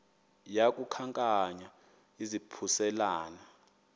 yaku khankanya izaphuselana